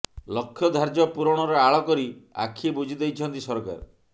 ଲକ୍ଷ୍ୟ ଧାର୍ଯ୍ୟ ପୂରଣର ଆଳ କରି ଆଖି ବୁଜିଦେଇଛନ୍ତି ସରକାର